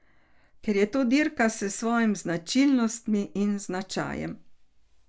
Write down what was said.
Ker je to dirka s svojimi značilnostmi in značajem.